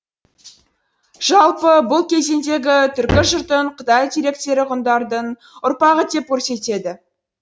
жалпы бұл кезеңдегі түркі жұртын қытай деректері ғұндардың ұрпағы деп көрсетеді